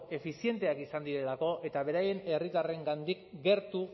efizienteak izan direlako eta beraien herritarrengandik gertu